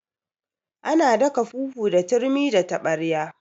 Ana daka fufu da turmi da taɓarya